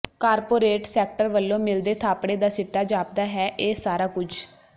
corporate sector ਵੱਲੋਂ ਮਿਲਦੇ ਥਾਪੜੇ ਦਾ ਸਿੱਟਾ ਜਾਪਦਾ ਹੈ ਇਹ ਸਾਰਾ ਕੁਝ